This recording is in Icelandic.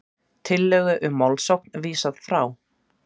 Tillögu um málssókn vísað frá